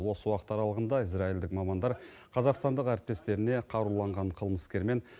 осы уақыт аралығында израильдік мамандар қазақстандық әріптестеріне қаруланған қылмыскермен